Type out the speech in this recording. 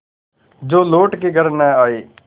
जो लौट के घर न आये